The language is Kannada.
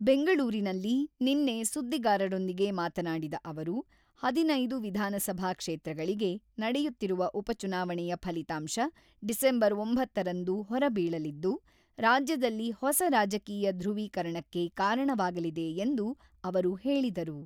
ಬೆಂಗಳೂರಿನಲ್ಲಿ ನಿನ್ನೆ ಸುದ್ದಿಗಾರರೊಂದಿಗೆ ಮಾತನಾಡಿದ ಅವರು, ಹದಿನೈದು ವಿಧಾನಸಭಾ ಕ್ಷೇತ್ರಗಳಿಗೆ ನಡೆಯುತ್ತಿರುವ ಉಪಚುನಾವಣೆಯ ಫಲಿತಾಂಶ ಡಿಸೆಂಬರ್ ಒಂಬತ್ತರಂದು ಹೊರಬೀಳಲಿದ್ದು, ರಾಜ್ಯದಲ್ಲಿ ಹೊಸ ರಾಜಕೀಯ ಧ್ರುವೀಕರಣಕ್ಕೆ ಕಾರಣವಾಗಲಿದೆ ಎಂದು ಅವರು ಹೇಳಿದರು.